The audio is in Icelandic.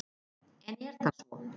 En er það svo.